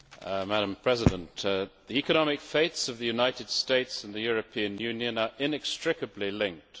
Madam President, the economic fates of the United States and the European Union are inextricably linked.